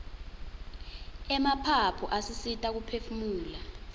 emaphaphu asisita kuphefumula